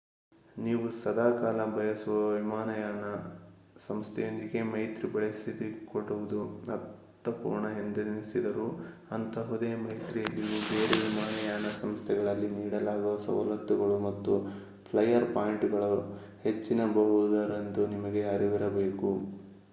ನೀವು ಸದಾಕಾಲ ಬಳಸುವ ವಿಮಾನಯಾನ ಸಂಸ್ಥೆಯೊಂದಿಗೇ ಮೈತ್ರಿ ಬೆಳೆಸಿಕೊಳ್ಳುವುದು ಅರ್ಥಪೂರ್ಣ ಎಂದೆನಿಸಿದರೂ ಅಂಥಹುದೇ ಮೈತ್ರಿಯಲ್ಲಿಯೂ ಬೇರೆ ವಿಮಾನಯಾನ ಸಂಸ್ಥೆಗಳಲ್ಲಿ ನೀಡಲಾಗುವ ಸವಲತ್ತುಗಳು ಮತ್ತು ಫ್ಲಯರ್ ಪಾಯಿಂಟುಗಳು ಹೆಚ್ಚಿರಬಹುದೆಂದು ನಿಮಗೆ ಅರಿವಿರಬೇಕು